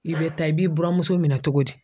I bɛ taa i b'i buranmuso minɛn togo di?